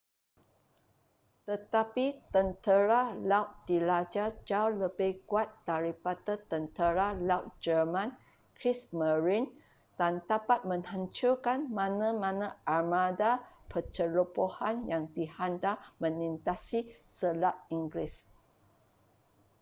tetapi tentera laut diraja jauh lebih kuat daripada tentera laut jerman kriegsmarine” dan dapat menghancurkan mana-mana armada pencerobohan yang dihantar melintasi selat inggeris